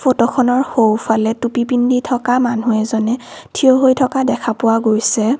ফটোখনৰ সোঁফালে টুপী পিন্ধি থকা মানুহ এজনে থিয় হৈ থকা দেখা পোৱা গৈছে।